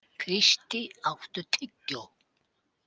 Kristý, áttu tyggjó?